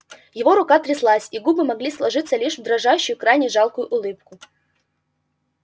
его рука тряслась и губы могли сложиться лишь в дрожащую крайне жалкую улыбку